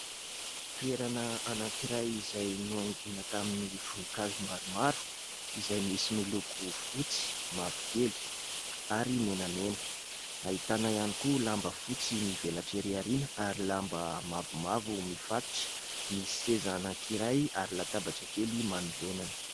Toerana anankiray izay nohaingoina tamin'ny voninkazo maromaro izay misy miloko fotsy, mavokely ary menamena. Ahitana ihany koa lamba fotsy mivelatra ery aoriana ary lamba mavomavo mifatotra ; misy seza anankiray ary latabatra kely manoloanany.